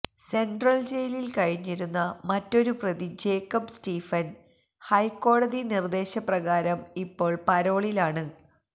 central ജയിലിൽ കഴിഞ്ഞിരുന്ന മറ്റൊരു പ്രതി ജേക്കബ്ബ് സ്റ്റീഫൻ ഹൈക്കോടതി നിർദ്ദേശപ്രകാരം ഇപ്പോൾ പരോളിൽ ആണ്